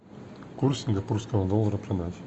курс сингапурского доллара продать